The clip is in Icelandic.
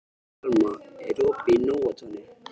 Thelma, er opið í Nóatúni?